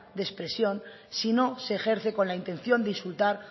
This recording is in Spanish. de expresión sino se ejerce con la intención de insultar